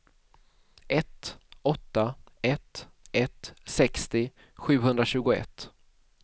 ett åtta ett ett sextio sjuhundratjugoett